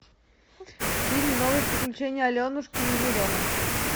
фильм новые приключения аленушки и еремы